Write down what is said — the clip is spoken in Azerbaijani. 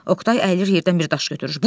Oqtay əyilir yerdən bir daş götürür.